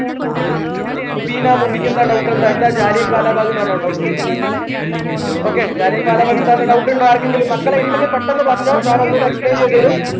മുബീന മുബിക്ക് എന്താ doubt എന്താ എന്താ ജാലിയൻ വാല ബാഗ് എന്നാണോ doubt okay യാണ് ജാലിയൻ വാല ബാഗ് എന്താന്ന് doubt ഇൻഡോ ആർക്കെകങ്കിലും മക്കളെ ഇണ്ടെങ്കിൽ പെട്ടെന്നു പറഞ്ഞോ sir ഒന്നോടെ explain ചെയ്തെരും